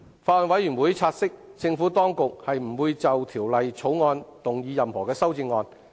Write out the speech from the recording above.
法案委員會察悉，政府當局不會就《條例草案》動議任何修正案。